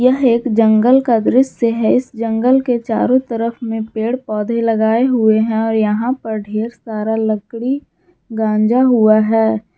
यह एक जंगल का दृश्य है इस जंगल के चारों तरफ में पेड़ पौधे लगाए हुए है और यहां पर ढेर सारा लकड़ी गांजा हुआ है।